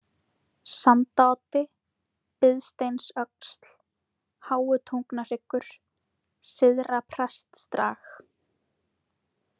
Sandaoddi, Biðsteinsöxl, Háutungnahryggur, Syðra-Prestdrag